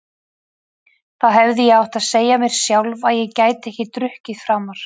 Þá hefði ég átt að segja mér sjálf að ég gæti ekki drukkið framar.